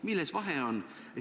Milles vahe on?